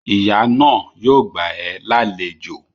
Ìyá náà yóò gbà ẹ́ lálejò